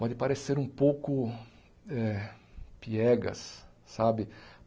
Pode parecer um pouco eh piegas, sabe?